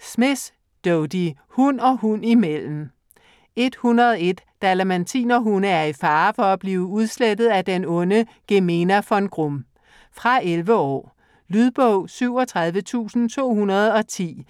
Smith, Dodie: Hund og hund imellem 101 dalmatinerhunde er i fare for at blive udslettet af den onde Gemena von Grum. Fra 11 år. Lydbog 37210